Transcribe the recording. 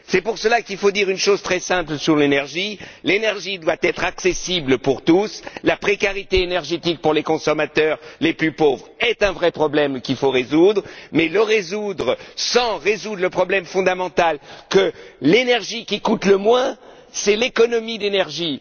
C'est pour cela qu'il faut dire une chose très simple sur l'énergie l'énergie doit être accessible à tous et la précarité énergétique dont sont victimes les consommateurs les plus pauvres est un vrai problème qu'il faut résoudre, mais on ne peut le résoudre sans résoudre le problème fondamental, sans admettre que l'énergie qui coûte le moins, c'est l'économie d'énergie.